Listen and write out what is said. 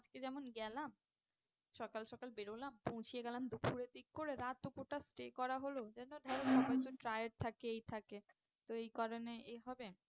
আজকে যেমন গেলাম সকাল সকাল বেরোলাম পৌঁছে গেলাম দুপুরের দিক করে রাত দুপুরটা stay করা হলো এই জন্য ধরো সবাই তো tired থাকে এই থাকে তো এই কারণে এ হবে